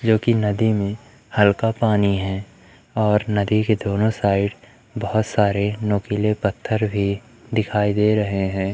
जोकि नदी में हल्का पानी है और नदी के दोनों साइड बहोत सारे नुकीले पत्थर भी दिखाई दे रहे हैं।